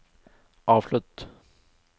avslutt